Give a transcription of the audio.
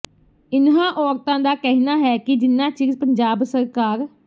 ਇਨ੍ਹਾਂ ਔਰਤਾਂ ਦਾ ਕਹਿਣਾ ਹੈ ਕਿ ਜਿਨਾਂ ਚਿਰ ਪੰਜਾਬ ਸਰਕਾਰ